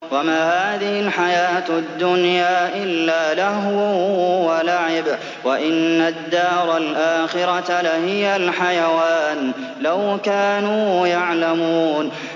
وَمَا هَٰذِهِ الْحَيَاةُ الدُّنْيَا إِلَّا لَهْوٌ وَلَعِبٌ ۚ وَإِنَّ الدَّارَ الْآخِرَةَ لَهِيَ الْحَيَوَانُ ۚ لَوْ كَانُوا يَعْلَمُونَ